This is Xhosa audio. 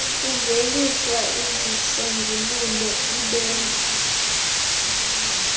kuveliswa izisombululp ibenza